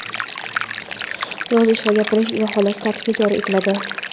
yozish va gapirish) baholash tartibi joriy etiladi.